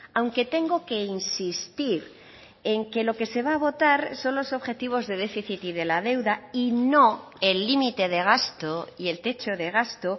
aunque tengo que insistir en que lo que se va a votar son los objetivos de déficit y de la deuda y no el límite de gasto y el techo de gasto